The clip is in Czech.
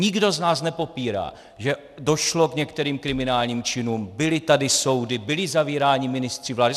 Nikdo z nás nepopírá, že došlo k některým kriminálním činům, byly tady soudy, byli zavíráni ministři vlády.